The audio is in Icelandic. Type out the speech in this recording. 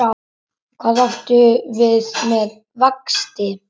Hvað áttu við með vexti?